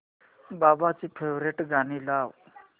बाबांची फेवरिट गाणी लाव